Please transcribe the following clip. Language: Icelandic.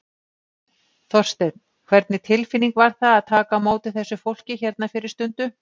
Þorsteinn, hvernig tilfinning var það að taka á móti þessu fólki hérna fyrir stundu?